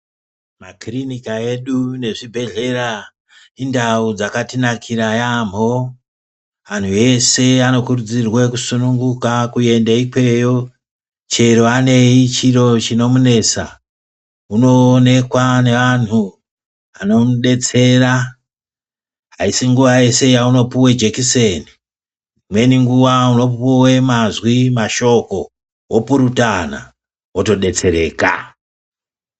Makirinika edu nezvibhedhleya indau dzakatinakira yambo, antu ese anokurudzirwa kusununguka kuende ikweyo chero anei chiro chinomunesa unoonekwa neantu anomudetsera, aisi nguwa yeshe yaunopuwe jekuseni imweni nguwa unopuwe mazwi mashoko wopurutana wotodetsereka.